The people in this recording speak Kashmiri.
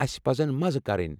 اسہِ پزَن مزٕ کرٕنۍ۔